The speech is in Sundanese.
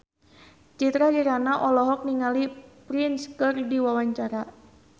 Citra Kirana olohok ningali Prince keur diwawancara